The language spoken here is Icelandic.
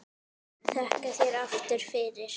Þakka þér aftur fyrir.